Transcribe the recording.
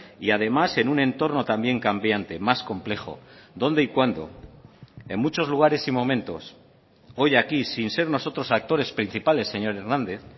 y además en un entorno también cambiante más complejo dónde y cuándo en muchos lugares y momentos hoy aquí sin ser nosotros actores principales señor hernández